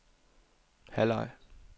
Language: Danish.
halvleg